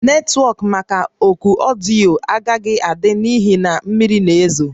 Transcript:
Netwọk maka oku ọdịyo a agaghị ada n'ihi na mmiri na-ezo